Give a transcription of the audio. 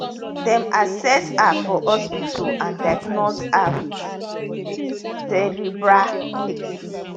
dem assess her for hospital and diagnose her wit wit cerebral palsy